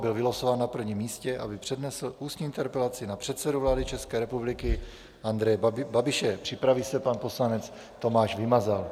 Byl vylosován na prvním místě, aby přednesl ústní interpelaci na předsedu vlády České republiky Andreje Babiše, připraví se pan poslanec Tomáš Vymazal.